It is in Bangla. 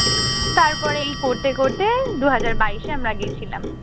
তারপর এই করতে করতে দু হাজার বাইশে আমরা গিয়েছিলাম।